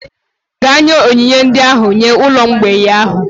Gaa nye onyinye ndị ahụ nye ụlọ mgbei ahụ!